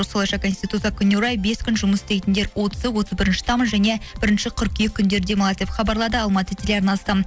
осылайша конституция күніне орай бес күн жұмыс істейтіндер отызы отыз бірінші тамыз және бірінші қыркүйек күндері демалады деп хабарлайды алматы теларнасы